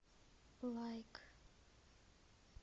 лайк